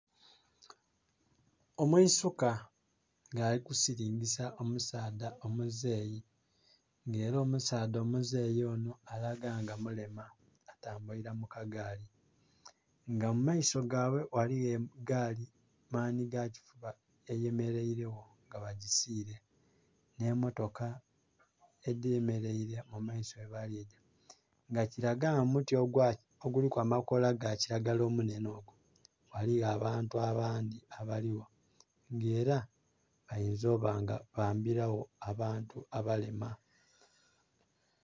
Omwiisuka nga ali kusirngisa omusaadha omuzei nga era omusaadha omuzei onho alaga nga mulema atambulira mukagaali nga mumaiso gabwe eriyo gaali manhi gakifuba eyemereire gho nga bagisire nhe mmotoka edhe mereire mumaiso yebaliga nga kilagala nga omuti oguliku amakola gakilagala omunhenhe ghaligho abantu abandhi abali gho nga era bainza oba bambira gho abantu abalema.